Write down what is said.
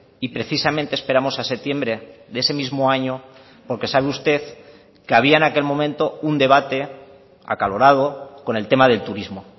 y precisamente esperamos a septiembre de ese mismo año porque sabe usted que había en aquel momento un debate acalorado con el tema del turismo